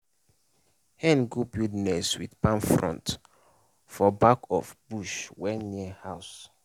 hen go build nest with palm frond for back of bush wey near house.